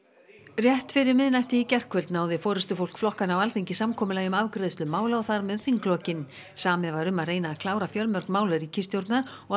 rétt fyrir miðnætti í gærkvöld náði forystufólk flokkanna á Alþingi samkomulagi um afgreiðslu mála og þar með þinglokin samið var um að reyna að klára fjölmörg mál ríkisstjórnar og